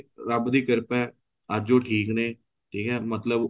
ਰੱਬ ਦੀ ਕਿਰਪਾ ਏ ਅੱਜ ਉਹ ਠੀਕ ਨੇ ਠੀਕ ਏ ਮਤਲਬ